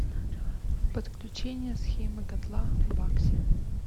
подключение схемы котла бакси